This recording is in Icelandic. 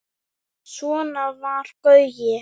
Svona var Gaui.